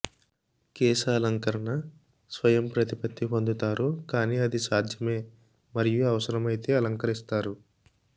కేశాలంకరణ స్వయం ప్రతిపత్తి పొందుతారు కాని అది సాధ్యమే మరియు అవసరమైతే అలంకరిస్తారు